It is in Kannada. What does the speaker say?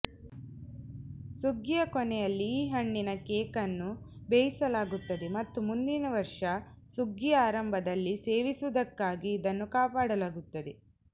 ಸುಗ್ಗಿಯ ಕೊನೆಯಲ್ಲಿ ಈ ಹಣ್ಣಿನ ಕೇಕ್ ಅನ್ನು ಬೇಯಿಸಲಾಗುತ್ತದೆ ಮತ್ತು ಮುಂದಿನ ವರ್ಷ ಸುಗ್ಗಿಯ ಆರಂಭದಲ್ಲಿ ಸೇವಿಸುವುದಕ್ಕಾಗಿ ಇದನ್ನು ಕಾಪಿಡಲಾಗುತ್ತದೆ